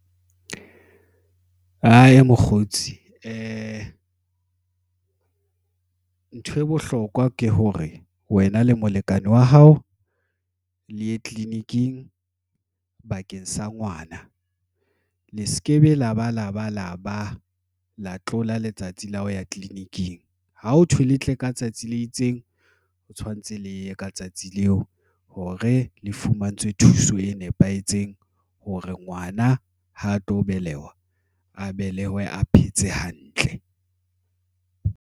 Aye, mokgotsi ntho e bohlokwa ke hore wena le molekane wa hao le ye tleliniking bakeng sa ngwana le se ke be la ba, la ba, la tlola letsatsi la ho ya tleleniking ha ho thwe le tle ka tsatsi le itseng. O tshwanetse leye ka tsatsi leo hore le fumantshwe thuso e nepahetseng hore ngwana ha a tlo beleha, a belehiwe a phetse hantle.